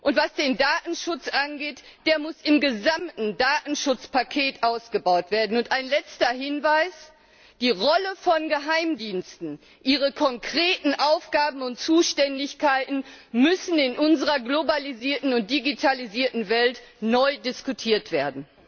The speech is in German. und was den Datenschutz angeht, der muss im gesamten Datenschutzpaket ausgebaut werden. Und ein letzter Hinweis Die Rolle von Geheimdiensten, ihre konkreten Aufgaben und Zuständigkeiten müssen in unserer globalisierten und digitalisierten Welt neu diskutiert werden!